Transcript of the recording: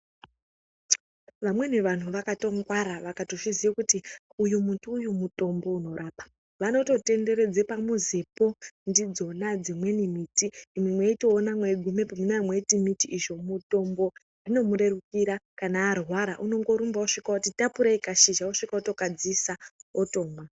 Vamweni vanhu vakatongwara vakatozviziya kuti uyu muti uyu mutombo unorapa, vanototenderedze pamuzipo ndidzona dzimweni miti imwi mweitoona mweigumepo munee mweiti miti izvo mitombo. Zvinomurerukira kana arwara unongorumba osvika oti tapurei Kashizha osvika otokadziisa otomwa.